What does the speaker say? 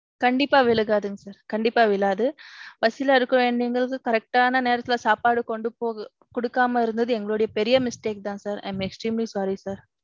கண்டிப்பா விழுக்காதுங்க sir. கண்டிப்பா விழாது. பசில இருக்கிறவங்களுக்கு correct ஆன நேரத்துல சாப்பாடு கொண்டு போக. குடுக்காம இருந்தது எங்கொளடைய பெரிய mistake தான் sir. I am extremely sorry sir.